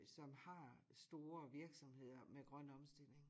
Som har store virksomheder med grøn omstilling